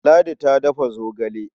Ladi ta dafa zogale.